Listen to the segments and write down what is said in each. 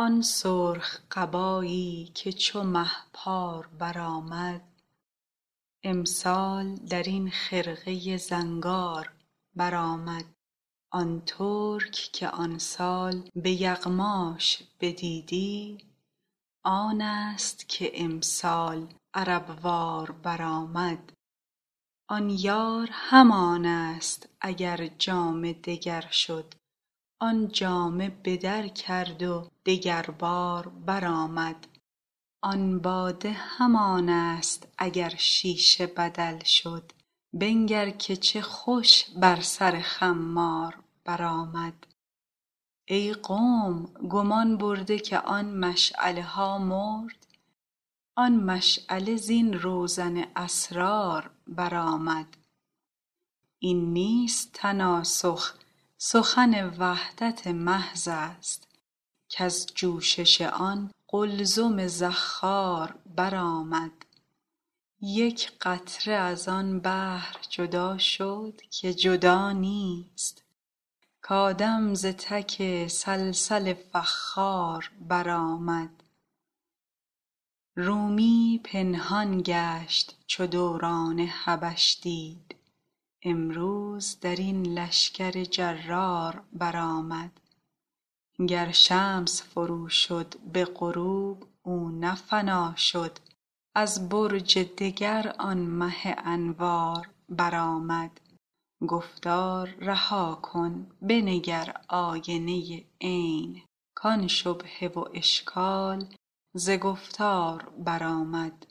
آن سرخ قبایی که چو مه پار برآمد امسال در این خرقه زنگار برآمد آن ترک که آن سال به یغماش بدیدی آنست که امسال عرب وار برآمد آن یار همانست اگر جامه دگر شد آن جامه به در کرد و دگربار برآمد آن باده همانست اگر شیشه بدل شد بنگر که چه خوش بر سر خمار برآمد ای قوم گمان برده که آن مشعله ها مرد آن مشعله زین روزن اسرار برآمد این نیست تناسخ سخن وحدت محضست کز جوشش آن قلزم زخار برآمد یک قطره از آن بحر جدا شد که جدا نیست کآدم ز تک صلصل فخار برآمد رومی پنهان گشت چو دوران حبش دید امروز در این لشکر جرار برآمد گر شمس فروشد به غروب او نه فنا شد از برج دگر آن مه انوار برآمد گفتار رها کن بنگر آینه عین کان شبهه و اشکال ز گفتار برآمد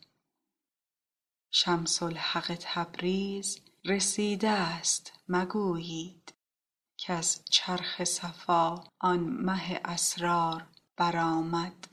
شمس الحق تبریز رسیدست مگویید کز چرخ صفا آن مه اسرار برآمد